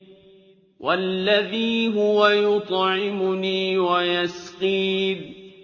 وَالَّذِي هُوَ يُطْعِمُنِي وَيَسْقِينِ